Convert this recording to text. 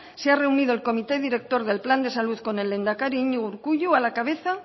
se ha reunido el comité director del plan de salud con el lehendakari iñigo urkullu a la cabeza